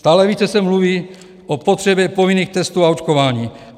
Stále více se mluví o potřebě povinných testů a očkování.